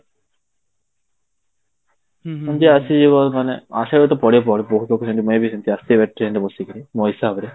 ସେମିତି ଆସିଯିବ ମାନେ ଆସିବାକୁ ତ ପଡିବ ହି ପଡିବ ବହୁତ ଲୋକ ସେମିତି may be ସେମିତି ସେମିତି ବସିକରି ମୋ ହିସାବ ରେ